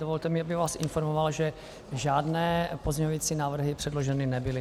Dovolte mi, abych vás informoval, že žádné pozměňující návrhy předloženy nebyly.